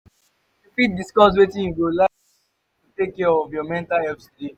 you fit discuss wetin you go like to do to take care of your mental health today?